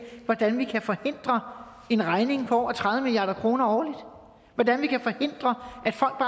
hvordan vi kan forhindre en regning på over tredive milliard kroner årligt hvordan vi kan forhindre